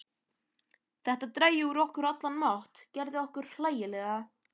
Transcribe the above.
Þetta drægi úr okkur allan mátt, gerði okkur hlægilega.